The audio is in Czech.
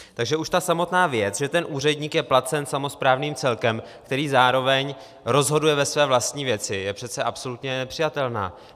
Takže už ta samotná věc, že ten úředník je placen samosprávným celkem, který zároveň rozhoduje ve své vlastní věci, je přece absolutně nepřijatelná.